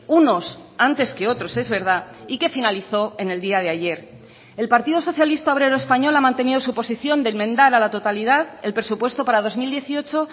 unos antes que otros es verdad y que finalizó en el día de ayer el partido socialista obrero español ha mantenido su posición de enmendar a la totalidad el presupuesto para dos mil dieciocho